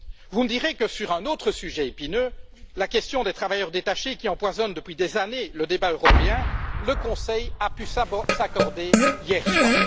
Vous me direz que, sur un autre sujet épineux la question des travailleurs détachés, qui empoisonne depuis des années le débat européen le Conseil a pu s'accorder hier soir.